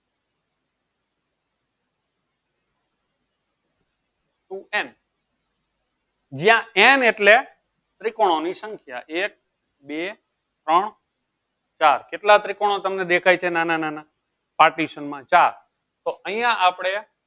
two n જ્યાં n એટલે ત્રિકોણની સંખ્યા એક બે ત્રણ ચાર કેટલા ત્રિકોણો તમને દેખાય છે નાના નાના partition ચાર તો અહીંયા આપણે